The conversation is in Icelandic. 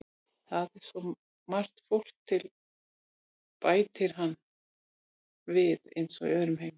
Það er svo margt fólk til, bætir hann við, eins og í öðrum heimi.